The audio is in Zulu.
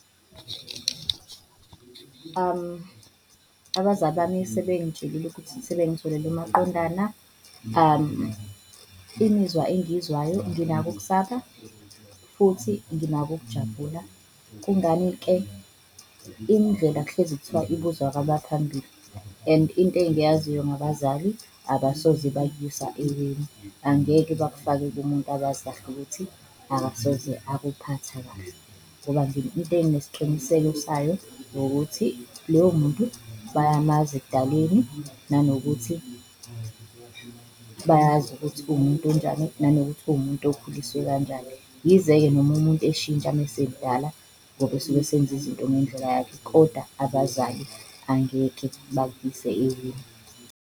Abazali bami sebengitshelile ukuthi sebengitholele umaqondana imizwa engiyizwayo nginako ukusaba futhi nginako ukujabula. Kungani-ke? Indlela kuhlezi kuthiwa ibuzwa kwabaphambili and into engiyaziyo ngabazali abosoze bakuyisa eweni, angeke bakufake kumuntu abazi kahle ukuthi akasoze akuphatha kahle. Ngoba into enginesiqiniseko sayo ukuthi loyo muntu bayamazi ekudaleni, nanokuthi bayazi ukuthi uwumuntu onjani, nanokuthi uwumuntu okukhulisiwe kanjani. Yize-ke noma umuntu eshintsha uma esemdala ngoba usuke esenza izinto ngendlela yakhe koda abazali angeke bakuyise eweni.